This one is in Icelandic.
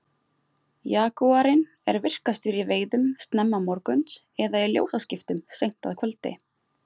Jagúarinn er virkastur í veiðum snemma morguns eða í ljósaskiptum seint að kvöldi.